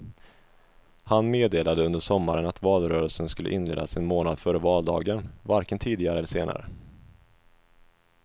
Han meddelade under sommaren att valrörelsen skulle inledas en månad före valdagen, varken tidigare eller senare.